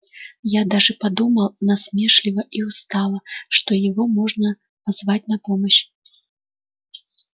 я даже подумал насмешливо и устало что его можно позвать на помощь